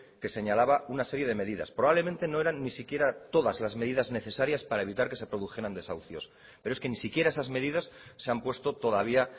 que señalaba una serie de medidas probablemente no eran ni siquiera todas las medidas necesarias para evitar que se produjeran desahucios pero es que ni siquiera esas medidas se han puesto todavía